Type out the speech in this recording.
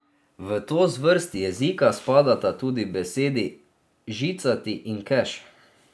V to zvrst jezika spadata tudi besedi žicati in keš.